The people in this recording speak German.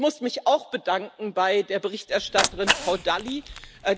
Ich muss mich auch bedanken bei der Berichterstatterin Frau Dalli,